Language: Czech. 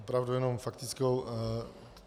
Opravdu jenom faktickou.